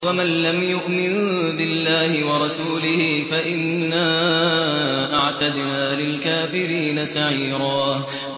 وَمَن لَّمْ يُؤْمِن بِاللَّهِ وَرَسُولِهِ فَإِنَّا أَعْتَدْنَا لِلْكَافِرِينَ سَعِيرًا